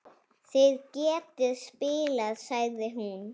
Þið getið spilað, sagði hún.